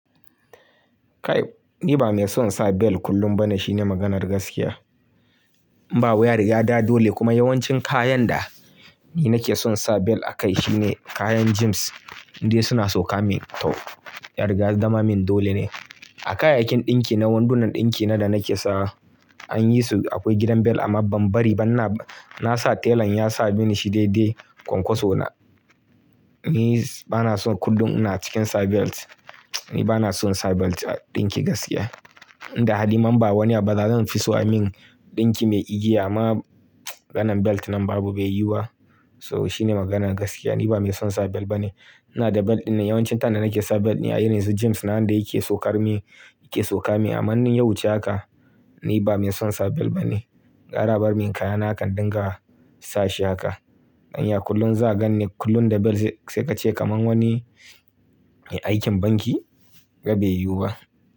Kai, ni ba mai son sa belt kullum ba ne shine maganar gaskiya. Ba wuya riya da dole kuma yawancin kayan da ni nake son sa belt a kai shine kayan gyms inda suna sauka min tau, yariga ya zama min dole ne. A kayayyakin ɗinki na, wadannan ɗinki na da nake sa an yi su akwai gidan belt amma ban bari ba na, na sa tailan ya sa mini shi daidai kwankwaso na. Ni ba na son kullum ina cikin sa belt. Ni ba na son sa belt a ɗinki gaskiya. Inda hali man ba wani abu da zan fi so a min ɗinki mai igiya amma maganan belt nan babu bai yiwa. So shine maganan gaskiya. Ni ba mai son sa belt ba ne. Ina da belt ɗin nan yawancin tine din da nake sa belt ne a irinsu gyms na waanda yake saukar min, yake sauka min amma ni in yawuce haka ni ba mai son sa belt ba ne. Gwara a bar min kayana hakan in dinga sa shi haka. Anya kullum za gan ni kullum da belt sai ka ce kamar wani mai aikin banki? Bai yuba.